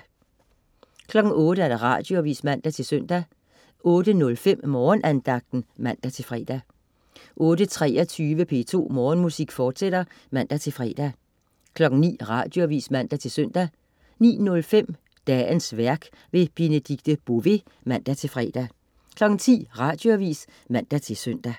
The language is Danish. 08.00 Radioavis (man-søn) 08.05 Morgenandagten (man-fre) 08.23 P2 Morgenmusik, fortsat (man-fre) 09.00 Radioavis (man-søn) 09.05 Dagens værk. Benedikte Bové (man-fre) 10.00 Radioavis (man-søn)